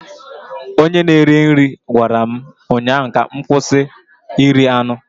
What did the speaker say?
Onye na-eri nri gwara m ụnyaahụ ka m kwụsị iri anụ